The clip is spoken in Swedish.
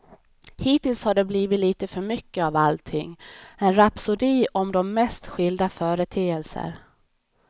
Hittills har det blivit lite för mycket av allting, en rapsodi om de mest skilda företeelser.